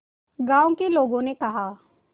गांव के लोगों ने कहा